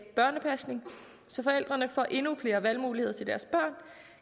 børnepasning så forældrene får endnu flere valgmuligheder til deres børn